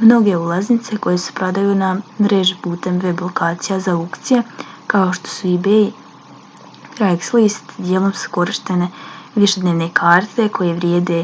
mnoge ulaznice koje se prodaju na mreži putem web lokacija za aukcije kao što su ebay ili craigslist dijelom su korištene višednevne karte koje vrijede